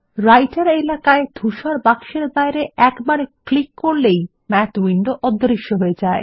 রাইটের এলাকায় ধূসর বাক্সের বাইরে একবার ক্লিক করলেই মাথ উইন্ডো অদৃশ্য হয়ে যায়